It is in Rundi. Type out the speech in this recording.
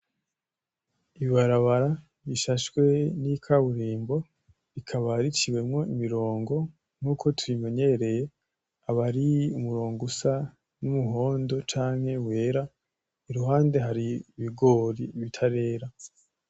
Ibarabara rishashwe n'ikaburimbo rikaba riciwemwo imi rongo nkuko tubimenyereye, aba ari umurongo usa nk'umuhondo canke wera, iruhande hari ibigori bitarera.